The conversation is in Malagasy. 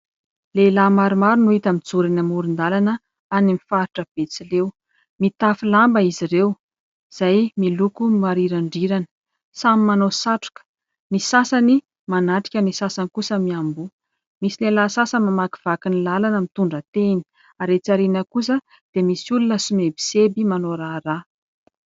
Lehilahy maromaro no hita mijoro eny amoron-dalana any amin'ny faritra betsileo. Mitafy lamba izy ireo izay miloko marirandrirana, samy manao satroka. Ny sasany manatrika, ny sasany kosa miamboho. Misy lehilahy sasany mamakivaky ny lalana mitondra tehina ary etsy aoriana kosa dia misy olona somebiseby manao raharaha.